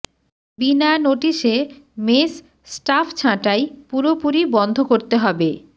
বিনা নোটিসে mess staff ছাঁটাই পুরোপুরি বন্ধ করতে হবে